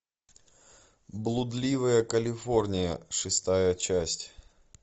блудливая калифорния шестая часть